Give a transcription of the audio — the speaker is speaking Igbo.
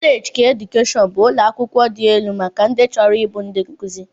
Kọleeji keedukeshọn bụ ụlọakwụkwọ dị elu maka ndị chọrọ ịbụ ndị nkụzi